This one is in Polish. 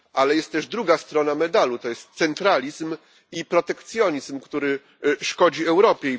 Ale jest też druga strona medalu to jest centralizm i protekcjonizm, który szkodzi Europie.